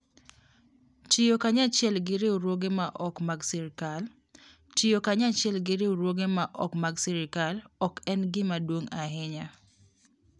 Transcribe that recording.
Tiyo Kanyachiel gi Riwruoge ma ok mag sirkal: Tiyo kanyachiel gi riwruoge ma ok mag sirkal ok en gima duong' ahinya.